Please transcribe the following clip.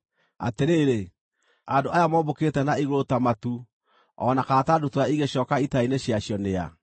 “Atĩrĩrĩ, andũ aya mombũkĩte na igũrũ ta matu, o na kana ta ndutura igĩcooka itara-inĩ ciacio nĩ a?